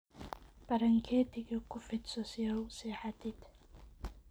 Baranketika kufidhso si aa uusexatid.